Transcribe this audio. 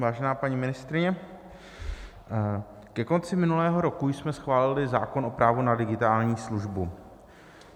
Vážená paní ministryně, ke konci minulého roku jsme schválili zákon o právu na digitální službu.